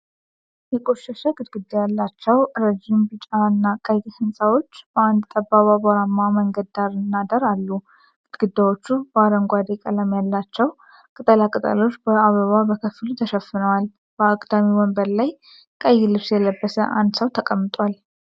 የቆሸሸ ግድግዳ ያላቸው ረዥም ቢጫ እና ቀይ ሕንፃዎች በአንድ ጠባብ አቧራማ መንገድ ዳርና ዳር አሉ። ግድግዳዎቹ በአረንጓዴ ቀለም ያላቸው ቅጠላ ቅጠሎች በአበባ ከፊሉ ተሸፍኗል፣ በአግዳሚ ወንበር ላይ ቀይ ልብስ የለበሰ አንድ ሰው ተቀምጧል።